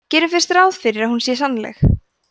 gerum fyrst ráð fyrir að hún sé sannanleg